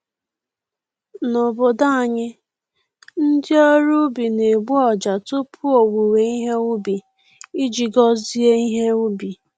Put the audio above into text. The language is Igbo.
N’obodo anyị, ndị ọrụ ubi na-egbu ọjà tupu owuwe ihe ubi, iji gozie ihe ubi.